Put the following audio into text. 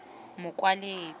mokwaledi